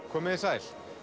komiði sæl